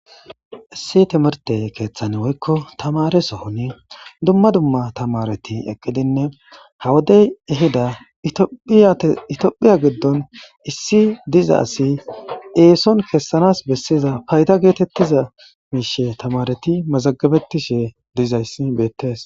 Issi timrte kethan woyko tamare sohon dumma dumma tamaret eqidinne ha wodey ehida itophiya gidon issi diza asiy eson kesanas koshiza fayda getetiza mishe tamaaret mazagabetishe dizaysi betes.